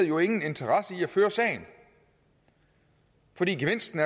jo ingen interesse i at føre sagen fordi gevinsten